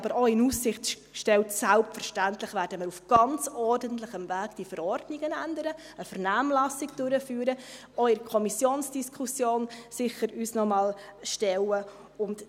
Wir haben aber auch in Aussicht gestellt, dass wir diese Verordnungen selbstverständlich auf ganz ordentlichem Weg ändern werden, indem wir eine Vernehmlassung durchführen und uns auch der Kommissionsdiskussion sicher noch einmal stellen werden.